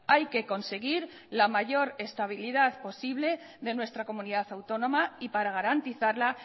hay que conseguir la mayor estabilidad posible de nuestra comunidad autónoma y para garantizarla